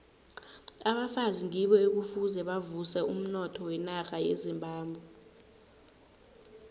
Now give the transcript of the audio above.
abafazi ngibo ekufuze bavuse umnotho wenarha yezimbabwe